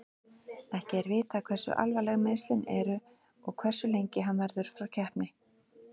Ekki er vitað hversu alvarleg meiðslin eru og hversu lengi hann verður frá keppni.